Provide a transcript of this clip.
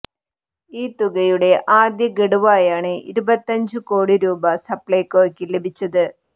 ഈ തുകയുടെ ആദ്യ ഘടുവായാണ് ഇരുപത്തിയഞ്ച് കോടി രൂപ സപ്ലൈകോയ്ക്ക് ലഭിച്ചത്